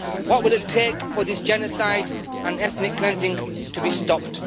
What will it take for this genocide and ethnic cleansing to be stopped?